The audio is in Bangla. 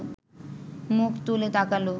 মুখ তুলে তাকাল